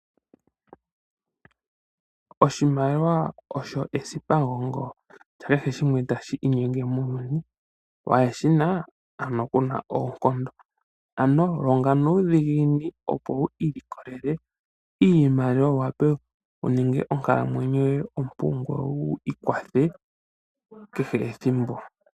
Oshimaliwa osho esipamugongo lya kehe shimwe tashi inyenge muuyuni. Waa shi na ano ku na oonkondo. Ano longa nuudhiginini, opo wi ilikolele iimaliwa wu wape wu ninge onkalamwenyo yoye ompu ngoye wi ikwathe kehe ethimbo.